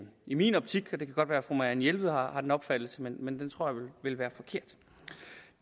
i min optik det kan godt være fru marianne jelved har den opfattelse men den tror